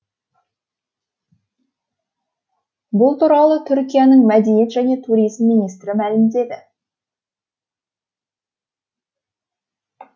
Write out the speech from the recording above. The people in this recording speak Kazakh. бұл туралы түркияның мәдениет және туризм министрі мәлімдеді